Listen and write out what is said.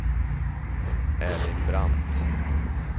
Erling Brandt